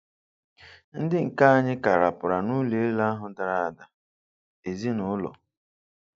Ndị nke anyị ka rapaara n’ụlọ elu ahụ dara ada: ezinụlọ